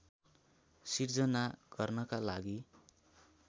सिर्जना गर्नका लागि